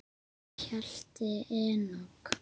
Hjalti Enok.